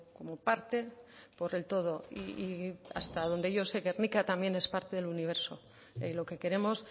como parte por el todo y hasta donde yo sé gernika también es parte del universo lo que queremos